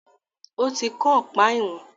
ó ti kán ọ̀pá ìwọ̀n.